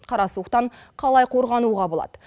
қара суықтан қалай қорғануға болады